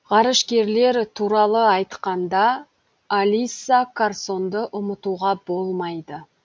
ғарышкерлер туралы айтқанда алисса карсонды ұмытуға болмайды